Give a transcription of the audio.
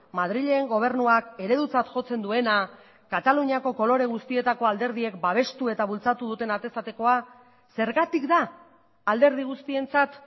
madrilen gobernuak eredutzat jotzen duena kataluniako kolore guztietako alderdiek babestu eta bultzatu duten atez atekoa zergatik da alderdi guztientzat